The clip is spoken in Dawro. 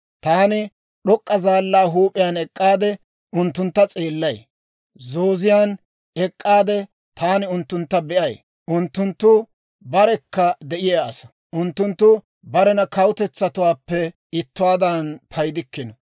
Taani d'ok'k'a zaallaa huup'iyaan ek'k'aade unttuntta s'eellay; zooziyaan ek'k'aade taani unttuntta be'ay. Unttunttu barekka de'iyaa asaa; unttunttu barena kawutetsatuwaappe ittuwaadan paydikkino.